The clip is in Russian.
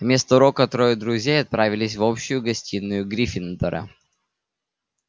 вместо урока троё друзей отправились в общую гостиную гриффиндора